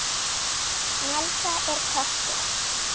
Snælda er köttur